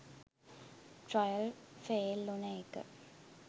Trial fail උන එක.